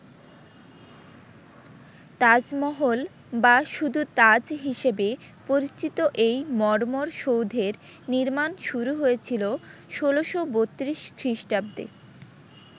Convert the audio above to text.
তাজমহল বা শুধু তাজ হিসেবে পরিচিত এই মর্মর সৌধের নির্মাণ শুরু হয়েছিল ১৬৩২ খ্রিস্টাব্দে।